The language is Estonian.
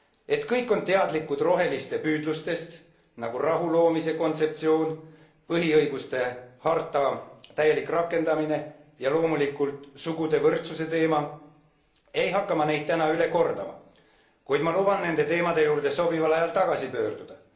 Et kõik on teadlikud roheliste püüdlustest nagu rahuloomise kontseptsioon, põhiõiguste harta täielik rakendamine ja loomulikult sugude võrdsuse teema ei hakka ma neid täna üle kordama, kuid ma luban nende teemade juurde sobival ajal tagasi pöörduda.